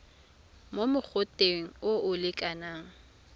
mo mogoteng o o lekanang